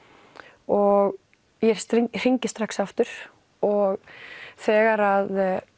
og ég hringi strax aftur og þegar